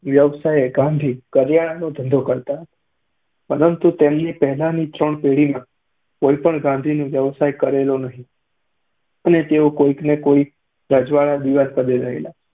વ્યવસાયે ગાંધી કરિયાણાનો ધંધો કરતા હતા, પરંતુ તેમની પહેલાની ત્રણ પેઢીમાં કોઈએ ગાંંધીનો વ્યવસાય કરેલો નહીં અને તેઓ કોઈકને કોઈક રજવાડાના દીવાનપદે રહેલા.